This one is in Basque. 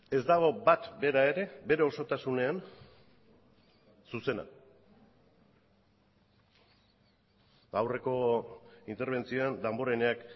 ez dago bat bera ere bere osotasunean zuzena aurreko interbentzioan damboreneak